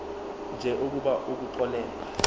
nje ukuba ukuxolelwa